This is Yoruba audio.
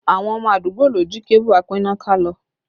Àwọn ọmọ àdúgbò ló jí kébù apínnáká lọ